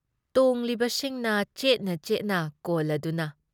ꯇꯣꯡꯂꯤꯕꯁꯤꯡꯅ ꯆꯦꯠꯅ-ꯆꯦꯠꯅ ꯀꯣꯜꯂꯗꯨꯅ꯫